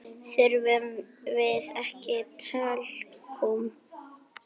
Þurfum við ekki talkúm?